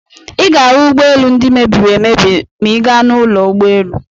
Ị ga-ahụ ụgbọelu ndị mebiri emebi ma ị gaa n'ụlọ ụgbọelu.